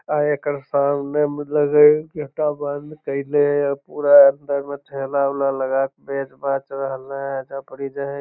आ एकर सामने मतलब गेटा एकटा बंद कईले हेय पूरा अंदर में ठेला-ऊला लगा के बेच बाच रहले हेय एजा पर इ जे हेय --